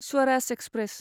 Swaraj express